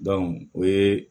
o ye